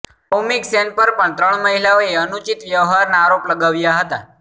સૌમિક સેન પર પણ ત્રણ મહિલાઓએ અનુચિત વ્યવહારના આરોપ લગાવ્યા હતા